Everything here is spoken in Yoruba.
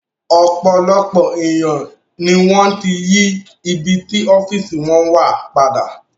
Ọ̀pọ̀lọpọ̀ èèyàn ni wọ́n ti yí ibi tí ọ́fíìsì wọn wà padà